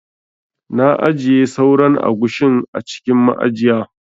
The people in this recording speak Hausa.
Na ajiye sauran agushin a cikin ma'ajiya.